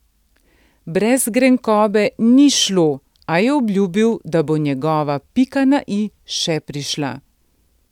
Brez grenkobe ni šlo, a je obljubil, da bo njegova pika na i še prišla.